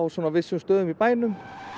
vissum stöðum í bænum